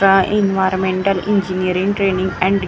ट्रा environmental engineering training and research --